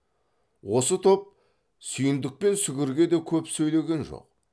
осы топ сүйіндік пен сүгірге де көп сөйлеген жоқ